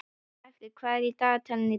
Snæfríð, hvað er á dagatalinu í dag?